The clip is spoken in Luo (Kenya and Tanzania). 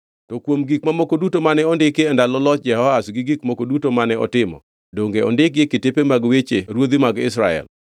To kuom gik mamoko duto mane ondiki e ndalo loch Jehoahaz gi gik moko duto mane otimo, donge ondikgi e kitepe mag weche ruodhi mag Israel?